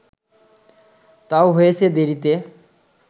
তাও হয়েছে দেরিতে